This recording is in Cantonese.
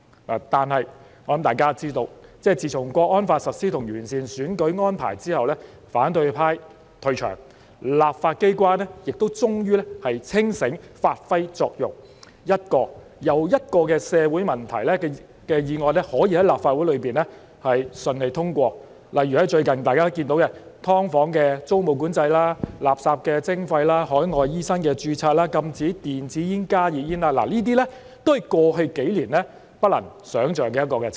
不過，大家也知道，自從《香港國安法》實施和完善選舉安排後，反對派退場，立法機關亦終於清醒，發揮作用，一個又一個解決社會問題的議案可以在立法會順利通過；例如最近有關"劏房"的租務管制、垃圾徵費、海外醫生註冊、禁止電子煙和加熱煙的議案，這些議案獲得通過的情景，都是過去數年不能想象的。